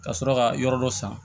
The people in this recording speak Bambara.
Ka sɔrɔ ka yɔrɔ dɔ san